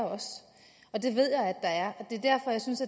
det ved jeg at der er derfor synes